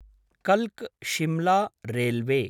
कल्क् Shimla railway